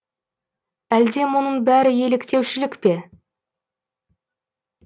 әлде мұның бәрі еліктеушілік пе